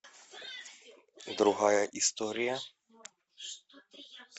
другая история